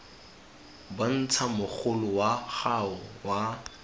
bontsha mogolo wa gago wa